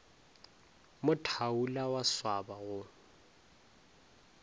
mo thaula wa swaba go